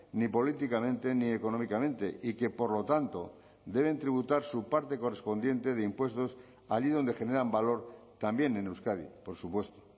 ni políticamente ni económicamente y que por lo tanto deben tributar su parte correspondiente de impuestos allí donde generan valor también en euskadi por supuesto